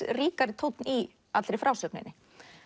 ríkari tónn í allri frásögninni